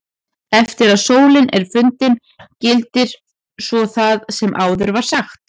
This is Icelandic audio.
Eftir að sólin er fundin gildir svo það sem áður var sagt.